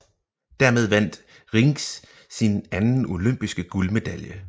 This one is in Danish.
Dermed vandt Rienks sin anden olympiske guldmedalje